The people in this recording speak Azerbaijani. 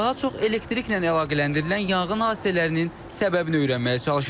Daha çox elektriklə əlaqələndirilən yanğın hadisələrinin səbəbini öyrənməyə çalışırıq.